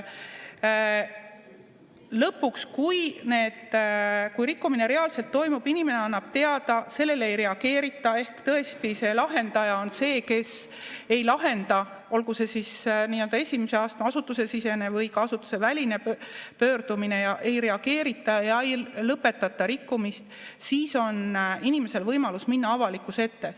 Lõpuks, kui rikkumine reaalselt toimub, inimene annab teada, kuid sellele ei reageerita ehk tõesti see lahendaja on see, kes ei lahenda, olgu see siis nii-öelda esimese astme asutusesisene või ka asutuseväline pöördumine, ja ei reageerita ja ei lõpetata rikkumist, siis on inimesel võimalus minna avalikkuse ette.